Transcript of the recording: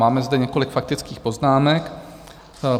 Máme zde několik faktických poznámek.